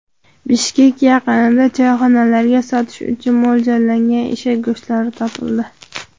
Bishkek yaqinida choyxonalarga sotish uchun mo‘ljallangan eshak go‘shtlari topildi.